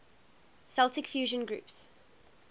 celtic fusion groups